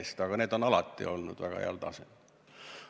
Eks need ettekanded on alati olnud väga heal tasemel.